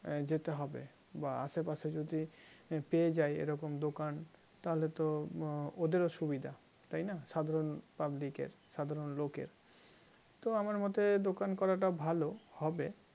আহ যেতে হবে বা আশেপাশে যদি পেয়ে যায় এরকম দোকান তাহলে তো ওদেরও সুবিধা তাই না সাধারণ public এর সাধারণ লোকের তো আমার মতে দোকান করাটা ভালো হবে